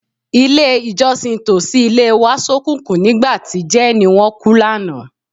Ilé-ìjọ́sìn tòsí ilé wa ṣókùnkùn nígbà tí jẹ́ẹ̀nì wọn kú lánàá.